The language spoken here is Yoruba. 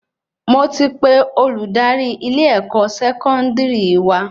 Mo ti pe Olùdarí ilé-ẹkọ Sẹkọndiri wa